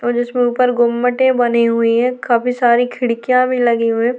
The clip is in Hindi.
और जिसमे ऊपर गुम्बते बनी हुई हैं काफी सारी खिडकियां भी लगी हुई हैं।